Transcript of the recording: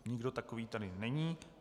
Nikdo takový tady není.